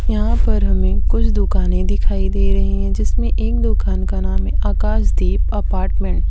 यहां पर हमें कुछ दुकाने दिखाई दे रही है। जिसमें एक दुकान का नाम है आकाश दीप अपार्टमेंट ।